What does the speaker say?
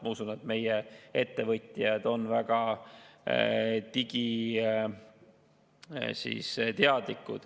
Ma usun, et meie ettevõtjad on väga digiteadlikud.